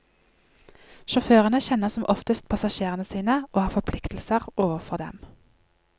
Sjåførene kjenner som oftest passasjerene sine, og har forpliktelser overfor dem.